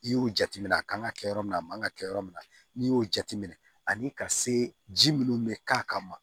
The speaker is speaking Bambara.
I y'o jateminɛ a kan ka kɛ yɔrɔ min na a man kan ka kɛ yɔrɔ min na n'i y'o jateminɛ ani ka se ji minnu bɛ k'a kama